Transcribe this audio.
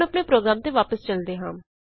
ਹੁਣ ਆਪਣੇ ਪ੍ਰੋਗਰਾਮ ਤੇ ਵਾਪਸ ਚਲਦੇ ਹਾਂ